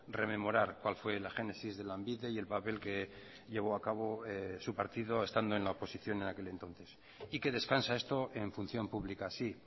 rememorar cuál fue la génesis de lanbide y el papel que llevó a cabo su partido estando en la oposición en aquel entonces y que descansa esto en función pública sí